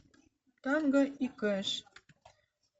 танго и кэш